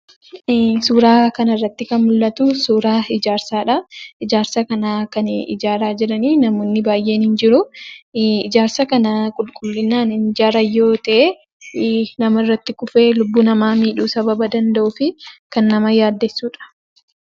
Suuraa kana irratti kan mul'atu suuraa ijaarsaadha. Ijaarsa kana kan ijaaraa jiran namoonni baay'een ni jiru. Ijaarsa kana qulqullinaan hinijaaran yoo ta'e namarratti kufee lubbuu namaa sababa miidhuu danda'uuf kan nama yaaddessudha.